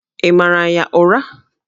Ị mara ya ụra?